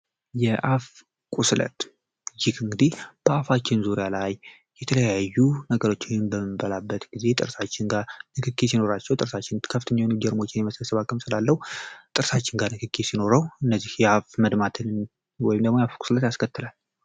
የአፍ ቁስለት ይክ ንግዲህ በአፋችን ዙሪያ ላይ የተለያዩ ነገረችው የምበመበላበት ጊዜ ጥርሳችን ጋር ልክኪ ሲኖራቸው ጥርሳችን ከፍትኛዊን ጀርሞችን የመሰለሰባ ክምፅላለው ጥርሳችን ጋር ንክኪ ሲኖረው እነዚህ የአፍ መድማትን ወይምደሞ የአፍ ቁስለት ያስከትላል፡፡